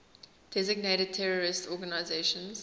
designated terrorist organizations